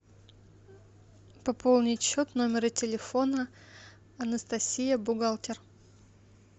пополнить счет номера телефона анастасия бухгалтер